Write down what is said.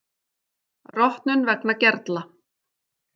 Rotnun vegna gerla